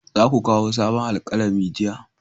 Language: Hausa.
Za ku kawo sabon alkalami jiya!